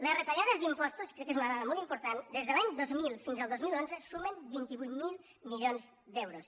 les retallades d’impostos crec que és una dada molt important des de l’any dos mil fins al dos mil onze sumen vint vuit mil milions d’euros